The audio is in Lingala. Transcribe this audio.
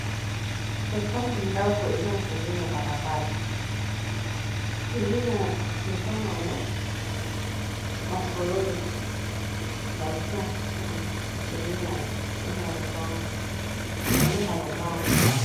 Lopango ya ndako eza na pembeni ya balabala, pembeni ya lopango yango ba fololo batia na mure ya lopango.